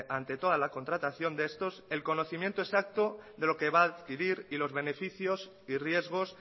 ante toda la contratación de estos el conocimiento exacto de lo que va a adquirir y los beneficios y riesgos